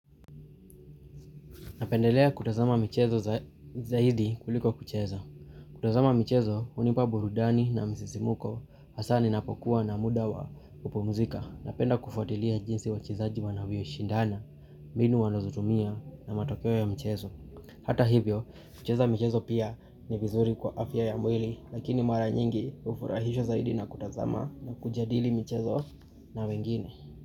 Napendelea kutazama mchezo zaidi kuliko kucheza. Kutazama mchezo hunipa burudani na msisimuko hasa ninapo kuwa na muda wa kupumzika. Napenda kufuatilia jinsi wachezaji wanavyo shindana, mbinu wanazotumia na matokeo ya mchezo. Hata hivyo, kucheza mchezo pia ni vizuri kwa afya ya mwili lakini mara nyingi ufurahisha zaidi na kutazama na kujadili mchezo na wengine.